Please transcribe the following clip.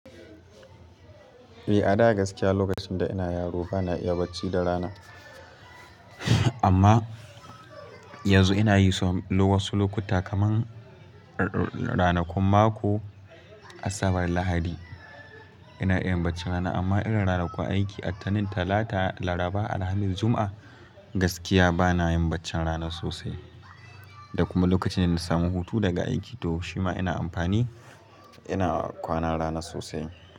Eh a da gaskiya lokacin da ina yaro bana iya bacci da rana. Amma yanzu ina yi so wasu lokuta kaman ranakun mako Asabar Lahadi ina iya yin baccin rana amma irin ranakun aiki a ttanin Talata, Laraba, Alhamis, Juma'a gaskiya bana yin baccin rana sosai. Da kuma lokacin da na samu hutu daga aiki to shima ina amfani ina kwana rana sosai.